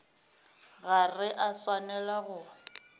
ga re a swanela go